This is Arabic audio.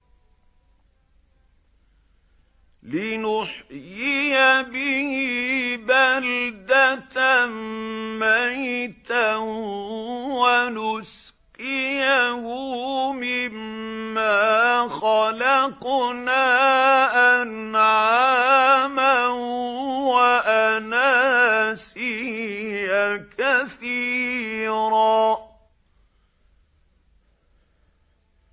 لِّنُحْيِيَ بِهِ بَلْدَةً مَّيْتًا وَنُسْقِيَهُ مِمَّا خَلَقْنَا أَنْعَامًا وَأَنَاسِيَّ كَثِيرًا